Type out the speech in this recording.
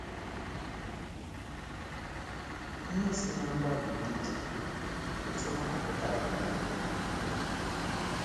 Ihe si ná mgbalị ndị dị otú ahụ pụta abụwo ihe na - agba ume.